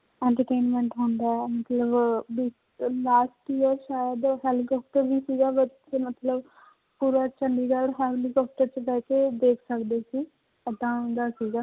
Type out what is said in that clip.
Entertainment ਹੁੰਦਾ ਹੈ ਮਤਲਬ last year ਸ਼ਾਇਦ helicopter ਵੀ ਸੀਗਾ ਮਤਲਬ ਪੂਰਾ ਚੰਡੀਗੜ੍ਹ helicopter 'ਚ ਬਹਿ ਕੇ ਦੇਖ ਸਕਦੇੇ ਸੀ ਏਦਾਂ ਹੁੰਦਾ ਸੀਗਾ